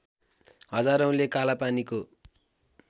हजारौँले कालापानीको